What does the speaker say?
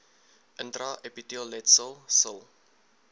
intra epiteelletsel sil